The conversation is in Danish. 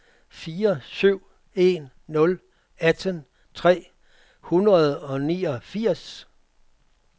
fire syv en nul atten tre hundrede og niogfirs